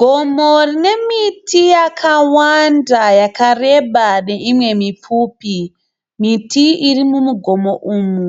Gomo rine miti yakawanda yakareba neimwe mipfupi. Miti iri mugomo umu